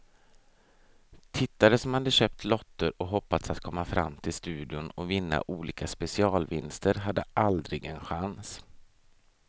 Tittare som hade köpt lotter och hoppats att komma fram till studion och vinna olika specialvinster hade aldrig en chans.